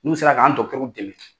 N'u sera k'an dɛmɛ.